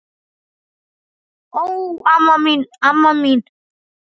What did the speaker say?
Ó, amma mín, amma mín!